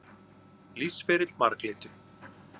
Lífsferill marglyttu.